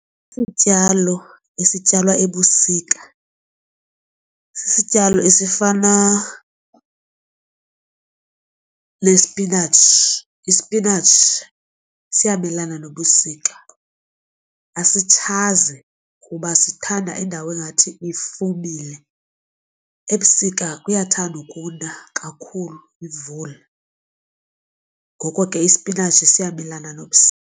Isityalo esityalwa ebusika sisityalo esifana nesipinatshi. Isipinatshi siyamelana nobusika asitshaze kuba sithanda indawo engathi ifumile. Ebusika kuyathanda ukuna kakhulu imvula ngoko ke isipinatshi siyamelana nobusika.